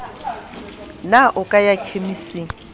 na o ka ya khemising